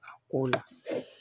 A ko la